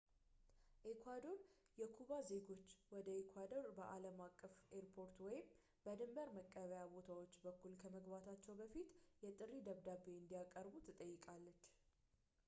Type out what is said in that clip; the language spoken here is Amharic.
ኤኳዶር የኩባ ዜጉች ወደ ኤኳዶር በአለም አቀፍ ኤርፖርቶች ወይም በድንበር መቀበያ ቦታዎች በኩል ከመግባታቸው በፊት የጥሪ ደብዳቤ እንዲያቀርቡ ትጠይቃለች